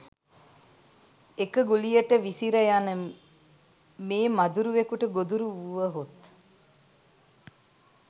එක ගුලියට විසිර යන මේ මදුරුවෙකුට ගොදුරු වුවහොත්